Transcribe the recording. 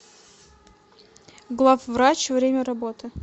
главврач время работы